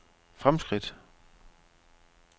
fremskridt